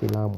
filamu.